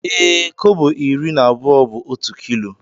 Ee, kobo iri na abụọ bụ otu kilo.